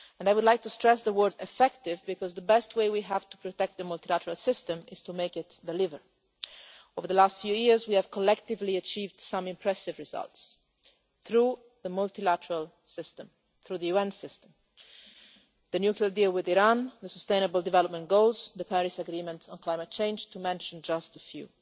I would like to stress the word effective' because the best way we have to protect the multilateral system is to make it deliver. Over the last few years we collectively have achieved some impressive results through the multilateral system, through the UN system the nuclear deal with Iran, the sustainable development goals, the Paris Agreement on Climate Change, to mention just a few.